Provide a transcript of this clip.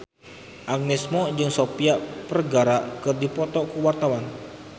Agnes Mo jeung Sofia Vergara keur dipoto ku wartawan